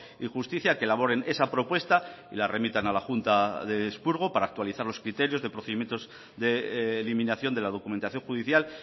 y justicia a que elaboren esa propuesta y la remitan a la junta de expurgo para actualizar los criterios de procedimientos de eliminación de la documentación judicial